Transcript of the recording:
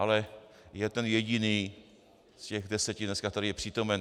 Ale je ten jediný z těch deseti dneska, který je přítomen.